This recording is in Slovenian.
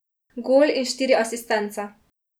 Gol in štiri asistence.